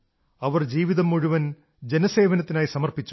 അവർ മുഴുവൻ ജീവിതവും ജനസേവനത്തിനായി സമർപ്പിച്ചു